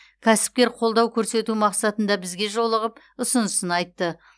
кәсіпкер қолдау көрсету мақсатында бізге жолығып ұсынысын айтты